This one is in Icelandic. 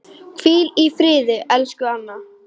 Hvíl í friði, elsku Anna.